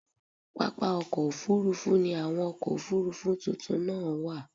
Pápá ọkọ́ Òfurufú ni àwọn ọkọ̀ Òfurufú tuntun náà wà.